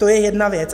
To je jedna věc.